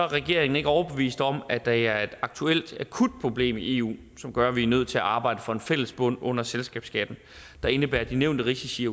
regeringen ikke overbevist om at der er et aktuelt akut problem i eu som gør at vi er nødt til at arbejde for en fælles bund under selskabsskatten der indebærer de nævnte risici